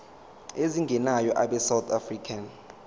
ezingenayo abesouth african